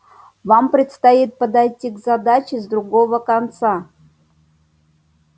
вам предстоит подойти к задаче с другого конца